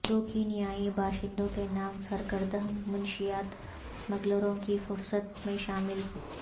دو کینیائی باشندوں کے نام سرکردہ منشیات اسمگلروں کی فہرست میں شامل